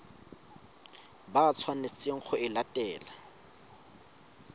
ba tshwanetseng go e latela